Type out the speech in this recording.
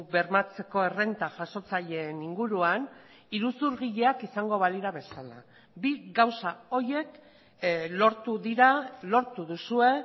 bermatzeko errenta jasotzaileen inguruan iruzurgileak izango balira bezala bi gauza horiek lortu dira lortu duzue